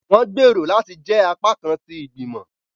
Wọn gbèrò láti jẹ apakan ti igbimọ.